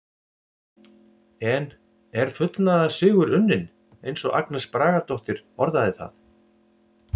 En er fullnaðarsigur unnin eins og Agnes Bragadóttir orðaði það?